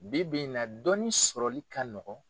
Bi bi in na dɔni sɔrɔli ka nɔgɔn.